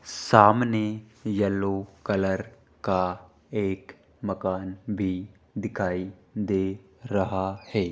सामने yellow colour का एक मकान भी दिखाई दे रहा है।